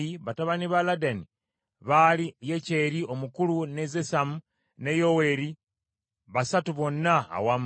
Batabani ba Ladani baali Yekyeri omukulu, ne Zesamu, ne Yoweeri, basatu bonna awamu.